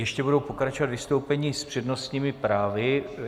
Ještě budou pokračovat vystoupení s přednostními právy.